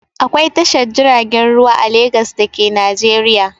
Akwai Tashar jiragen ruwa a Legas da ke Najeriya.